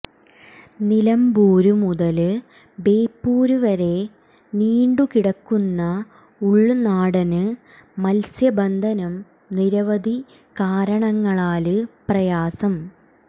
നിലമ്പൂര് മുതല് ബേപ്പൂര് വരെ നീണ്ടു കിടക്കുന്ന ഉള്നാടന് മത്സ്യബന്ധനം നിരവധി കാരണങ്ങളാല് പ്രയാസം